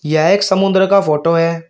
यह एक समुद्र का फोटो है।